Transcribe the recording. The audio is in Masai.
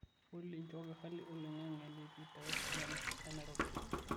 olly nchooki hali oloing'ang'e enetiu te westlands e nairobi